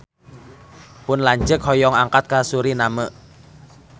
Pun lanceuk hoyong angkat ka Suriname